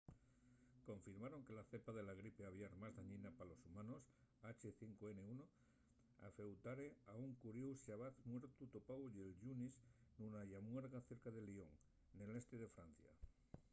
confirmaron que la cepa del gripe aviar más dañina pa los humanos h5n1 afeutare a un coríu xabaz muertu topáu'l llunes nuna llamuerga cerca de lyon nel este de francia